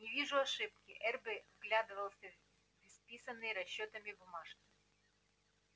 не вижу ошибки эрби вглядывался в исписанные расчётами бумажки